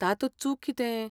तातूंत चूक कितें?